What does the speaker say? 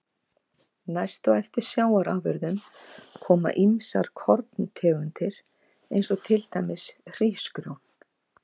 Næst á eftir sjávarafurðum koma ýmsar korntegundir eins og til dæmis hrísgrjón.